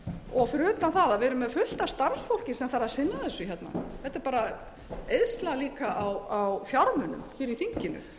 og fyrir utan það erum við með fullt af starfsfólki sem þarf að sinna þessu hérna þetta er líka eyðsla á fjármunum í þinginu ég